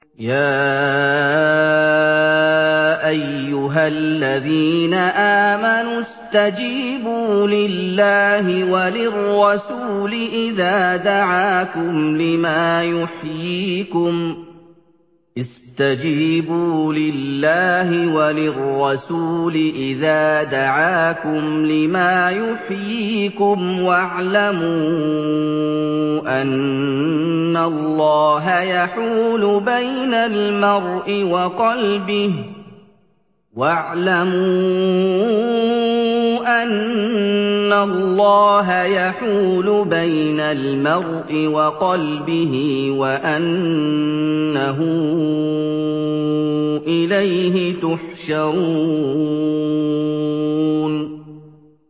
يَا أَيُّهَا الَّذِينَ آمَنُوا اسْتَجِيبُوا لِلَّهِ وَلِلرَّسُولِ إِذَا دَعَاكُمْ لِمَا يُحْيِيكُمْ ۖ وَاعْلَمُوا أَنَّ اللَّهَ يَحُولُ بَيْنَ الْمَرْءِ وَقَلْبِهِ وَأَنَّهُ إِلَيْهِ تُحْشَرُونَ